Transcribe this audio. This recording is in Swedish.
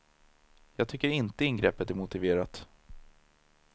Jag tycker inte ingreppet är motiverat.